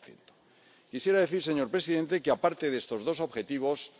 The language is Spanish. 90 Quisiera decir, señor presidente, que, aparte de estos dos objetivos,